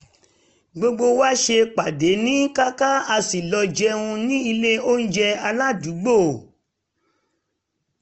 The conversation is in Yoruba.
gbogbo wa ṣe pàdé ní kàkà a sì lọ jẹun ní ilé onjẹ aládùúgbò